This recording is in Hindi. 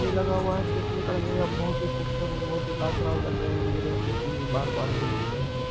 भी लगा हुआ है बहुत ही खूबसूरत और बहुत ही लाजबाब लग रहा है